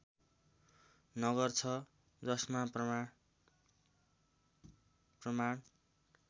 नगर छ जसका प्रमाण